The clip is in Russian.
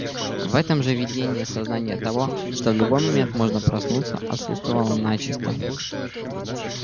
в этом же видении сознание того что в любой момент можно проснуться отсутствовало начисто